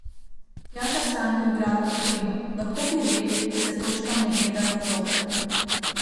Tjaša Stanko, igralka Krima: "Lahko bi rekli, da se točkam ne gleda v zobe.